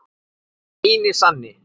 Hinn eini sanni!